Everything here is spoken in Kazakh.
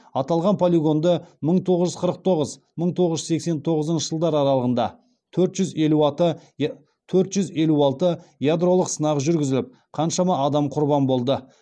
аталған полигонды мың тоғыз жүз қырық тоғыз мың тоғыз жүз сексен тоғызыншы жылдар аралығында төрт жүз елу алты ядролық сынақ жүргізіліп қаншама адам құрбан болды